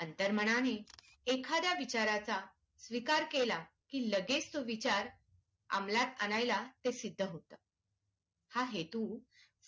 अंतर्मनने एखाद्या विचाराचा स्वीकार केला की लगेच तो विचार अमलात आणायला ते सिद्ध होत हा हेतू